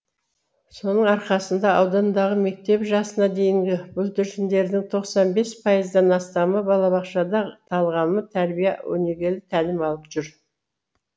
соның арқасында аудандағы мектеп жасына дейінгі бүлдіршіндердің тоқсан бес пайыздан астамы балабақшада талғамы тәрбие өнегелі тәлім алып жүр